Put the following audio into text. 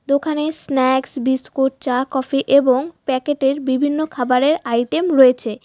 দোকানে snacks biscuit চা coffee এবং প্যাকেটের বিভিন্ন খাবারের আইটেম রয়েছে।